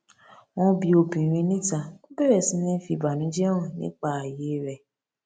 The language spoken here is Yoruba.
wọn bi obìnrin níta ó bẹrẹ sí ní fi ìbànújẹ hàn nípa ààyè rẹ